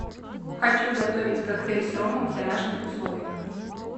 хочу готовить коктейль с ромом в домашних условиях